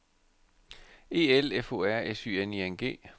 E L F O R S Y N I N G